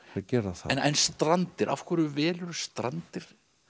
gera það en Strandir af hverju velurðu Strandir